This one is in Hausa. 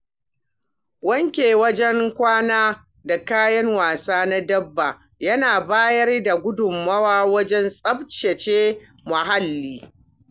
Wanke wurin kwana da kayan wasa na dabba yana bayar da gudunmawa wajen tsaftace muhalli.